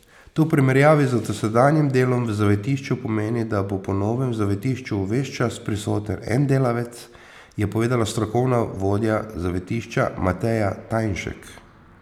To v primerjavi z dosedanjim delom v zavetišču pomeni, da bo po novem v zavetišču ves čas prisoten en delavec, je povedala strokovna vodja zavetišča Mateja Tajnšek.